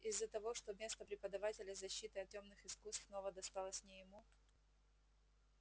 из-за того что место преподавателя защиты от тёмных искусств снова досталось не ему